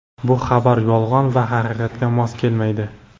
bu xabarlar yolg‘on va haqiqatga mos kelmaydi.